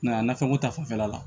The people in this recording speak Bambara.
Nka nafɛnko ta fanfɛla la